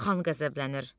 Xan qəzəblənir.